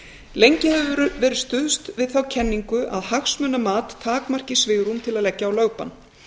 lengi hefur verið stuðst við þá kenningu að hagsmunamat takmarki svigrúm til að leggja á lögbann